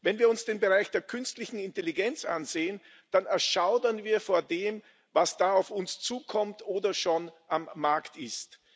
Wenn wir uns den Bereich der künstlichen Intelligenz ansehen, dann erschaudern wir vor dem, was da auf uns zukommt oder schon am Markt ist.